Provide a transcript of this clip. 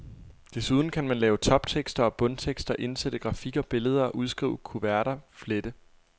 Desuden kan man lave toptekster og bundtekster, indsætte grafik og billeder, udskrive kuverter, flette.